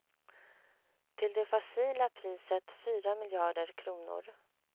Till det facila priset fyra miljarder kronor.